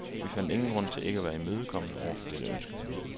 Vi fandt ingen grund til ikke at være imødekommende over for dette ønske.